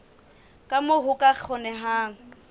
ka moo ho ka kgonehang